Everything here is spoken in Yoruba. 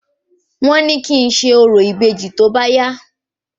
Wọ́n ní kí ń ṣe orò ìbejì tóbá yá